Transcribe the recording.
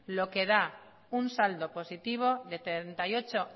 lo que da un saldo positivo de treinta y ocho